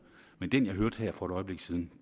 men den jeg hørte her for et øjeblik siden